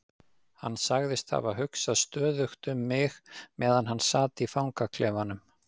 Hann sagðist hafa hugsað stöðugt um mig meðan hann sat í fangaklefanum.